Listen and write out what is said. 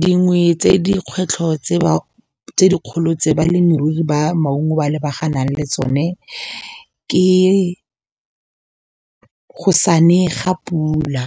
Dingwe tse dikgwetlho tse dikgolo tse balemirui ba maungo ba lebaganang le tsone ke go sane ga pula.